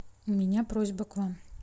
у меня просьба к вам